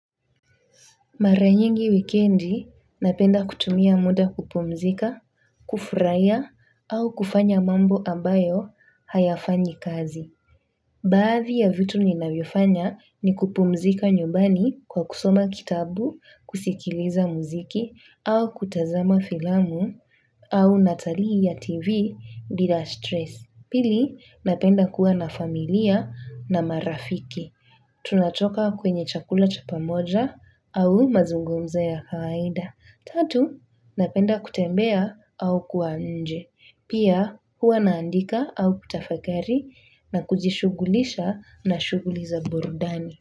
Mara nyingi wikendi napenda kutumia muda kupumzika, kufurahia au kufanya mambo ambayo hayafanyi kazi. Baadhi ya vitu ninavyofanya ni kupumzika nyumbani kwa kusoma kitabu, kusikiliza muziki au kutazama filamu au natalii ya tv bila stress. Pili napenda kuwa na familia na marafiki. Tunatoka kwenye chakula cha pamoja au mazungumzo ya kawaida. Tatu napenda kutembea au kuwa nje pia, huwa naandika au kutafakari na kujishugulisha na shughuli za burudani.